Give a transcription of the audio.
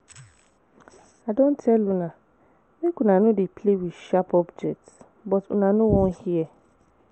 I don tell una make una no dey play with sharp objects but una no wan hear